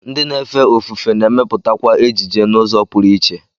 Ndị na-efe ofufe na-emepụtakwa ejije n'ụzọ pụrụ iche